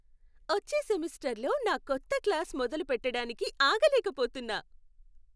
వచ్చే సెమిస్టర్లో నా కొత్త క్లాస్ మొదలుపెట్టడానికి ఆగలేకపోతున్నా!